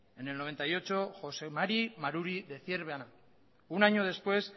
en el noventa y ocho jose mari maruri de zierbana un año después